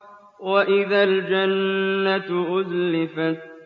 وَإِذَا الْجَنَّةُ أُزْلِفَتْ